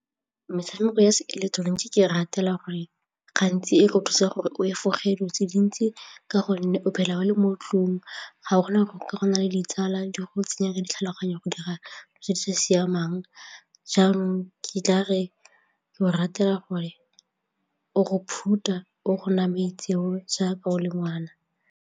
Metshameko ya seileketeroniki ke e ratela gore gantsi e go thusa gore o efoge dilo tse dintsi ka gonne o phela o le mo ntlong ga gona gore ka go na le ditsala di go tsenya di tlhaloganyo ya go dira tse di sa siamang jaanong ga kitla ratela gore o go phutha o go naya maitseo jaaka o le ngwana.